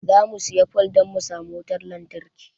Zamu siya fole dan mu samu wutan lantarki